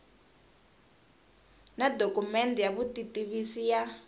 na dokumende ya vutitivisi ya